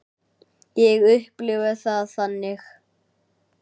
Ég upplifi það þannig.